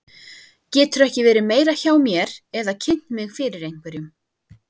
Geturðu ekki verið meira hjá mér eða kynnt mig fyrir einhverjum.